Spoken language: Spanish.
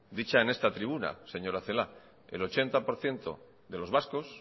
dicha en esta tribuna señora celaá el ochenta por ciento de los vascos